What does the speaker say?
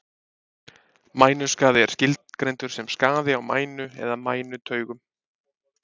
Mænuskaði er skilgreindur sem skaði á mænu eða mænutaugum.